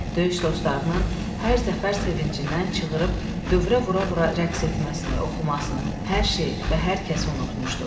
Döyüş dostlarının hər zəfər sevincindən çığıırıb dövrə-vura-vura rəqs etməsini, oxumasını hər şeyi və hər kəsi unutmuşdu.